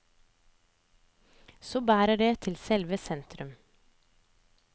Så bærer det til selve sentrum.